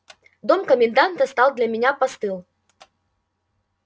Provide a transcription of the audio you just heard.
дом коменданта стал для меня постыл